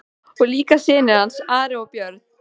Og líka synir hans, Ari og Björn.